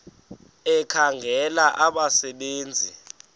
ekhangela abasebe nzi